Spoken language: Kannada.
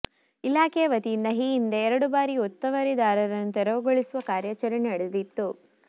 ಇಲಾಖೆಯ ವತಿಯಿಂದ ಈ ಹಿಂದೆ ಎರಡು ಬಾರಿ ಒತ್ತುವರಿದಾರರನ್ನು ತೆರವುಗೊಳಿಸುವ ಕಾರ್ಯಾಚರಣೆ ನಡೆದಿತ್ತು